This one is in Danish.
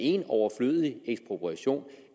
en overflødig ekspropriation